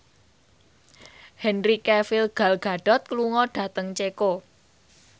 Henry Cavill Gal Gadot lunga dhateng Ceko